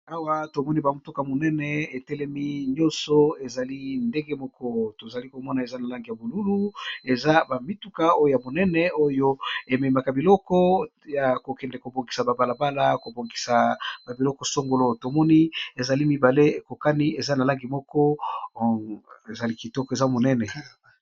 Awa tomoni bamotuka monene etelemi nyonso ezali ndenge moko tozali komona eza na langi ya bolulu eza bamituka oyo ya monene oyo ememaka biloko ya kokende kobongisa babalabala kobongisa babiloko songolo tomoni ezali mibale ekokani eza na langi moko ezali kitoko eza monene.